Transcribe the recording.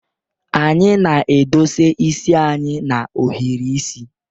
Anyị na-edosa isi anyị na-ohiri isi.